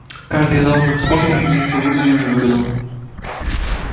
каждый из оных способов имеет свою выгоду и невыгоду